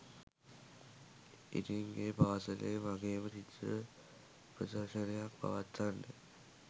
ඉතිං ඒ පාසලේ මගේම චිත්‍ර ප්‍රදර්ශනයක් පවත්වන්න